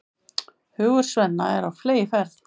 Hugur Svenna er á fleygiferð.